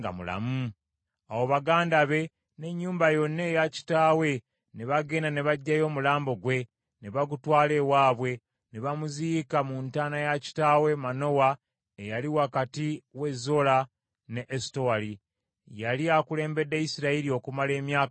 Awo baganda be n’ennyumba yonna eya kitaawe ne bagenda ne baggyayo omulambo gwe, ne bagutwala ewaabwe, ne bamuziika mu ntaana ya kitaawe Manowa eyali wakati w’e Zola ne Esutaoli. Yali akulembedde Isirayiri okumala emyaka amakumi abiri.